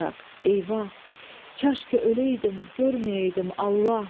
Eyvah, kaş ki öləydim, görməyəydim Allah!